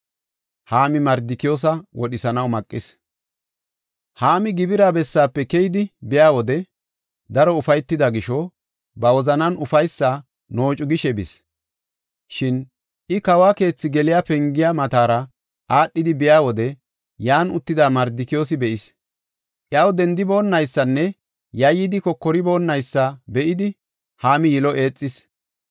Haami gibira bessaafe keyidi biya wode, daro ufaytida gisho, ba wozanan ufaysi noocu gishe bis. Shin I kawo keethi geliya pengiya matara aadhidi biya wode yan uttida Mardikiyoosa be7is. Iyaw dendiboonaysanne yayyidi kokoriboonaysa be7idi Haami yilo eexis.